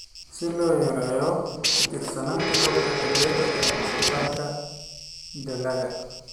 Si loo yareeyo ku tiirsanaanta roobabka xilliyeed ee wax soo saarka dalagga.